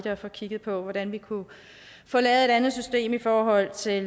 at få kigget på hvordan vi kunne få lavet et andet system i forhold til